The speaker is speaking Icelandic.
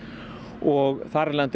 og þar af leiðandi